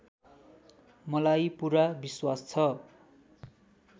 मलाई पुरा विश्वास छ